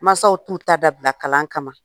Masaw t'u ta dabila kalan kama.